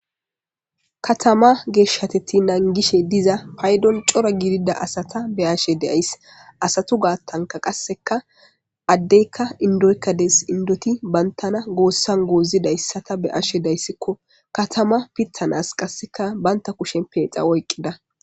Katama geeshshateti nangishe diza paydon cora giidida asata be ashe deays asatu gaattanka qasseka addeyka indoykkades indoti bantana goossan goozidayssata be ashe dayssikko katama pitanas qasseka banta kushen peexa oyqqida